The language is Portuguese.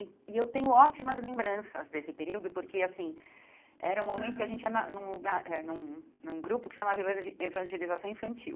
E e eu tenho ótimas lembranças desse período, porque, assim, era um momento que a gente ia na num lugar eh num num grupo que se chamava Evan Evangelização Infantil.